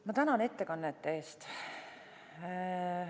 Ma tänan ettekannete eest!